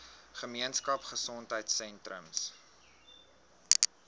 gemeenskap gesondheidsentrum ggs